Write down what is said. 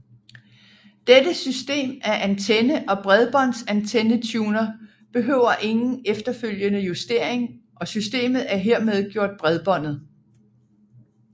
Dette system af antenne og bredbåndsantennetuner behøver ingen efterfølgende justering og systemet er hermed gjort bredbåndet